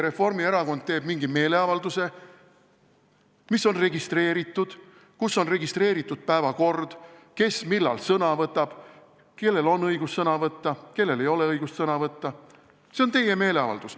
Reformierakond teeb mingi meeleavalduse, mis on registreeritud, kus on registreeritud päevakord, kes millal sõna võtab, kellel on õigus sõna võtta, kellel ei ole õigust sõna võtta – see on teie meeleavaldus.